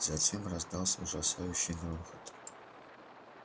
затем раздался ужасающий грохот